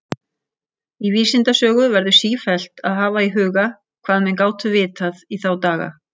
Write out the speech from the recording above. Í vísindasögu verður sífellt að hafa í huga, hvað menn gátu vitað í þá daga.